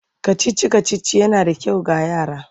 Kacici-kacici yana da kyau ga yara.